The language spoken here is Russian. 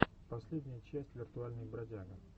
последняя часть виртуальный бродяга